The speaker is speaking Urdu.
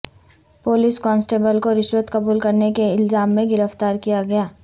پولیس کانسٹیبل کو رشوت قبول کرنے کے الزام میں گرفتار کیا گیا